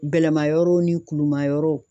Gɛlɛma yɔrɔw ni kulumayɔrɔw